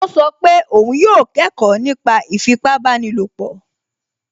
Ó sọ pé òun yóò kẹ́kọ̀ọ́ nípa ìfipábanílòpọ̀